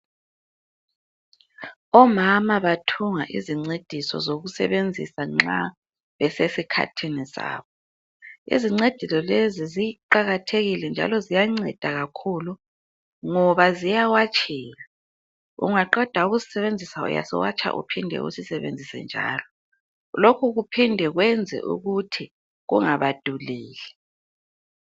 Omama bathunga izincediso zokusebenzisa nxa besesikhathini sabo. Izincediso lezi ziqakathekile njalo ziyanceda kakhulu ngoba ziyawatsheka , ungaqeda ukusisebenzisa uyasiwatsha uphinde usisebenzise njalo lokhu kuphinde kwenze ukuthi kungabaduleli.